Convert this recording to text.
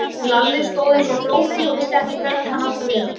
Lalli stóð eins og glópur og vissi ekki hvernig hann átti að vera.